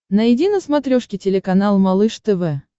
найди на смотрешке телеканал малыш тв